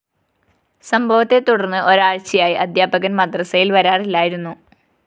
സംഭവത്തെ തുടര്‍ന്ന് ഒരാഴ്ചയായി അധ്യാപകന്‍ മദ്രസയില്‍ വരാറില്ലായിരുന്നു